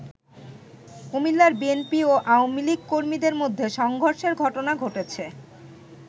কুমিল্লায় বিএনপি ও আওয়ামী লীগ কর্মীদের মধ্যে সংঘর্ষের ঘটনা ঘটেছে।